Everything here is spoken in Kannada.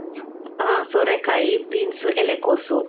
ಹಾ, ಸೋರೆಕಾಯಿ, beans, ಎಲೆಕೋಸು.